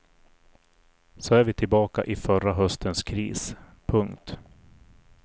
Så är vi tillbaka i förra höstens kris. punkt